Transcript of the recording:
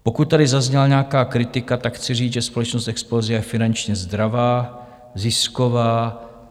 Pokud tady zazněla nějaká kritika, tak chci říct, že společnost Explosia je finančně zdravá, zisková.